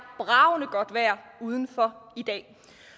bragende godt vejr udenfor i dag